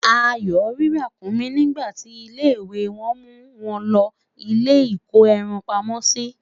Ayo rí Ràkúnmí nígbà ti ilé ìwé wan mu won lòó ilé iko ẹran pamó si